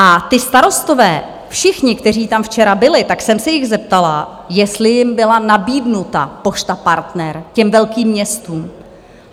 A ti starostové všichni, kteří tam včera byli, tak jsem se jich zeptala, jestli jim byla nabídnuta Pošta Partner, těm velkým městům.